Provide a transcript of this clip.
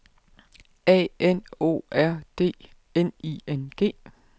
A N O R D N I N G